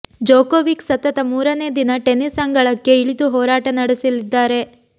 Djokovic ಸತತ ಮೂರನೆ ದಿನ ಟೆನಿಸ್ ಅಂಗಳಕ್ಕೆ ಇಳಿದು ಹೋರಾಟ ನಡೆಸಲಿದ್ದಾರೆ